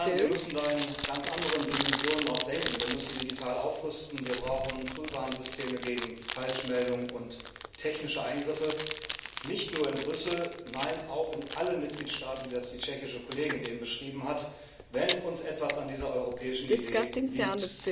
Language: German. Wir müssen da auch in ganz anderen Dimensionen denken Wir müssen digital aufrüsten, wir brauchen Frühwarnsysteme gegen Falschmeldungen und technische Eingriffe nicht nur in Brüssel, nein, auch in allen Mitgliedstaaten, wie das die tschechische Kollegin eben beschrieben hat wenn uns etwas an dieser europäischen Idee liegt.